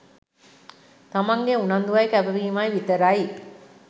තමන්ගෙ උනන්දුවයි කැපවීමයි විතරයි.